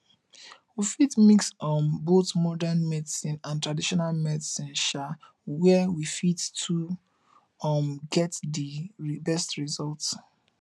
we fit mix um both modern medicine and traditional medicine um where we fit to um get di best result